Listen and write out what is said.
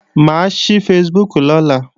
Mà á ṣí Facebook lọ́la